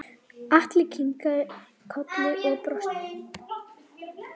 Lalli kinkaði kolli og brosti.